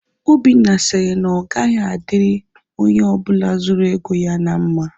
Obinna sịrị na ọ gaghị adịrị onye ọbụla zuru ego ya na mma